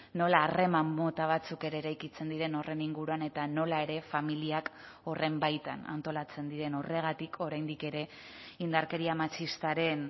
nola harreman mota batzuk ere eraikitzen diren horren inguruan eta nola ere familiak horren baitan antolatzen diren horregatik oraindik ere indarkeria matxistaren